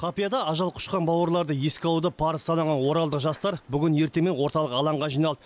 қапияда ажал құшқан бауырларды еске алуды парыз санаған оралдық жастар бүгін ертемен орталық алаңға жиналды